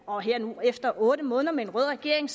og her efter otte måneder med en rød regering